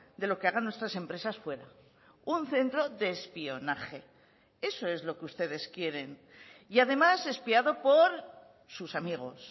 de lo que hagan nuestras empresas fuera un centro de espionaje eso es lo que ustedes quieren y además espiado por sus amigos